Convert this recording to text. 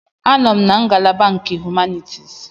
Anọ m na ngalaba nke Humanities.